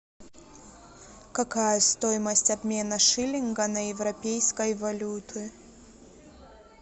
какая стоимость обмена шиллинга на европейской валюты